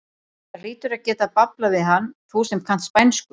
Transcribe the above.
Þú hlýtur að geta bablað við hann, þú sem kannt spænsku!